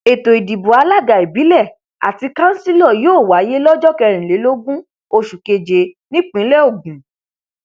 ètò ìdìbò alága ìbílẹ àti kanṣílò yóò wáyé lọjọ kẹrìnlélógún oṣù keje nípínlẹ ogun